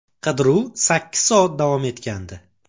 Qidiruv sakkiz soat davom etgandi.